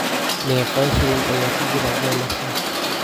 meeqa shilin ayaa ku jira dollarka